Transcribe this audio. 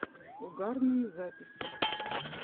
угарные записи